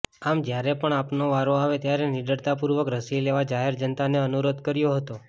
આમ જ્યારે પણ આપનો વારો આવે ત્યારે નીડરતાપૂર્વક રસી લેવા જાહેર જનતાને અનુરોધ કર્યો હતો